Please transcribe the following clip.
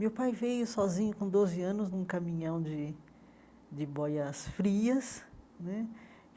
Meu pai veio sozinho com doze anos num caminhão de de boias frias né.